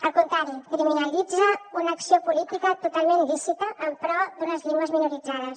al contrari criminalitza una acció política totalment lícita en pro d’unes llengües minoritzades